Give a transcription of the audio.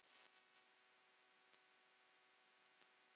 Ég lærði margt af henni.